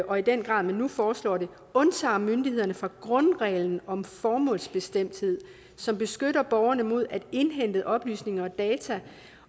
og i den grad man nu foreslår det undtager myndighederne fra grundreglen om formålsbestemthed som beskytter borgerne mod at indhentede oplysninger og data